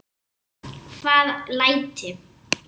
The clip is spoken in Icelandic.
Hvaða læti?